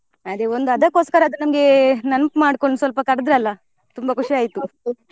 ಅದೇ ಒಂದು ಅದ್ಕೊಸ್ಕರ ಆದ್ರೂ ನಮ್ಗೆ ನೆನಪು ಮಾಡ್ಕೊಂಡ್ ಸ್ವಲ್ಪ ಕರೆದ್ರಲ್ಲ ತುಂಬಾ ಖುಷಿ .